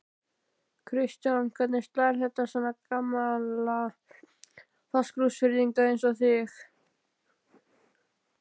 Kristján: Hvernig slær þetta svona gamla Fáskrúðsfirðinga eins og þig?